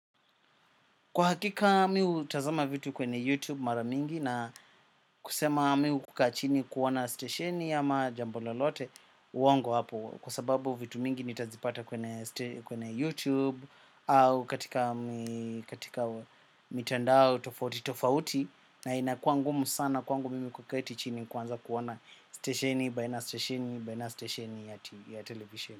Kwa hakika mi hutazama vitu kwenye YouTube mara mingi na kusema mi hukaa chini kuona stesheni ama jambo lolote uongo hapo kwa sababu vitu mingi nitazipata kwenye YouTube au katika mitandao tofauti tofauti na inakua ngumu sana kwangu mimi kuketi chini kuanza kuona stesheni baina stesheni baina stesheni ya televisheni.